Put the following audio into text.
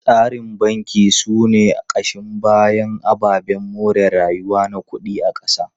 Tsarin banki sune kashin bayan ababen more rayuwa na kudi na kasa.